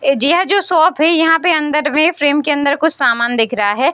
यह जो शॉप है यहां पे अंदर मे फ्रेम के अंदर मे कुछ सामान दिख रहा है।